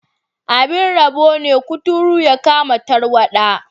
Abin rabo ne, kuturu ya kama tarwada.